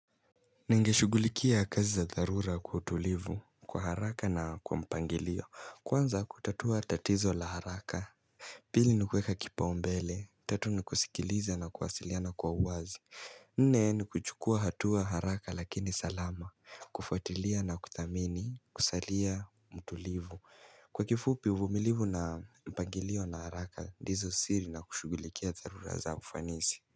Ningeshugulikia kazi za dharura kwa utulivu, kwa haraka na kwa mpangilio, kwanza kutatua tatizo la haraka Pili ni kueka kipaumbele, tatu ni kusikiliza na kuwasiliana kwa uwazi Nne ni kuchukua hatua haraka lakini salama, kufuatilia na kuthamini, kusalia mtulivu, kwa kifupi uvumilivu na mpangilio na haraka ndizo siri na kushugulikia dharura za ufanisi.